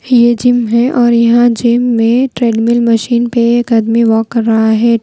ये जिम है और यहां जिम में ट्रेडमिल मशीन पे एक आदमी वॉक कर रहा है।